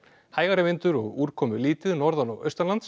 hægari vindur og úrkomulítið norðan og